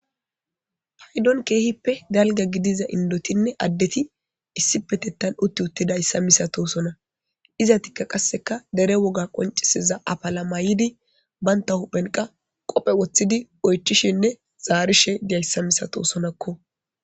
Paydon keehippe galga gidiza indotinne addeti issipe tettan utti uttida yssa misatosona iza tikka qasseka dere woga qoncisiza apalamaydi banta huphenqa qophe woththidi oychishinne zaarishe diyayssa misatosonakko.